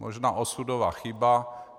Možná osudová chyba.